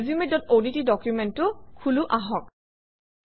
resumeঅডট ডকুমেণ্টটো খোলো আহক